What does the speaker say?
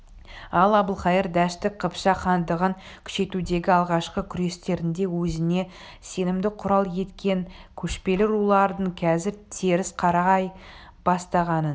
ал әбілқайыр дәшті қыпшақ хандығын күшейтудегі алғашқы күрестерінде өзіне сенімді құрал еткен көшпелі рулардың қазір теріс қарай бастағанын